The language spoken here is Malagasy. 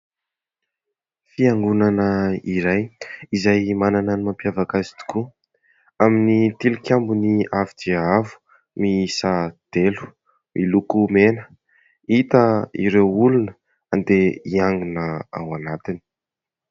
Fiangonana iray izay manana ny mampiavaka azy tokoa amin'ny tilikambony avo dia avo miisa telo miloko mena. Hita ireo olona andeha hiangona ao anatiny.